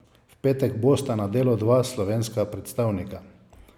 V petek bosta na delu dva slovenska predstavnika.